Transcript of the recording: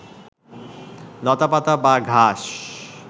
লতাপাতা বা ঘাস